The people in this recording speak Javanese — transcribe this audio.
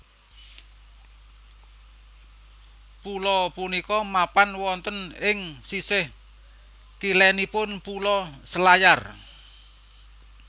Pulo punika mapan wonten ing sisih kilenipun Pulo Selayar